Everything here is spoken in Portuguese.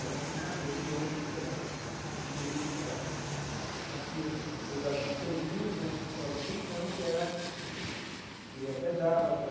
Ela falou ah elogiou, falou que era bonito e tal, só que ia mudar algumas coisinhas que chamavam a atenção, que era que até dava para...